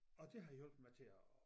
Og det har hjulpet mig til at